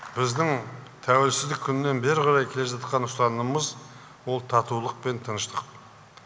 біздің тәуелсіздік күннен бері қарай келе жатқан ұстанымымыз ол татулық пен тыныштық